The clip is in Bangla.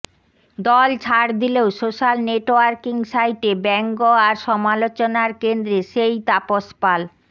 দল ছাড় দিলেও সোশ্যাল নেটওয়ার্কিং সাইটে ব্যঙ্গ আর সমালোচনার কেন্দ্রে সেই তাপস পাল